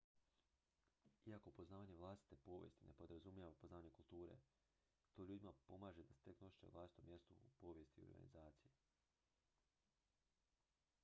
iako poznavanje vlastite povijesti ne podrazumijeva poznavanje kulture to ljudima pomaže da steknu osjećaj o vlastitom mjestu u povijest organizacije